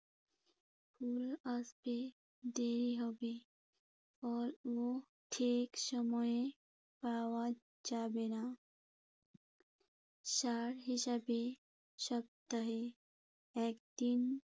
ফুল আসতে দেরি হবে। ফলও ঠিক সময়ে পাওয়া যাবে না। সার হিসেবে সপ্তাহে একদিন